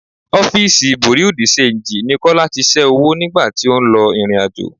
Ọ́fíìsì bùréú di-ṣenji ni Kọ́lá tí ṣẹ́ owó nìgbà tí ó ń lọ ìrìnàjò.